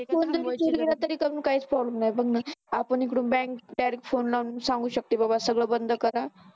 Phone जरी चोरी केला गेला तरी काहीच problem नाही बघ ना आपण इकडून बँकेत direct फोन करून सांगू शकतो. बबा सगळं बंद करा.